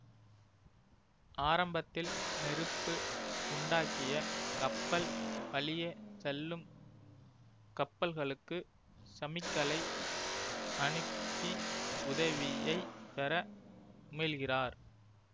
ஆரம்பத்தில் நெருப்பு உண்டாக்கிய கப்பல் வழியே செல்லும் கப்பல்களுக்கு சமிக்களை அனுப்பி உதவியை பெற முயல்கிறார்